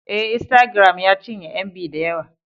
Ee, Instagram ya cinye MB da yawa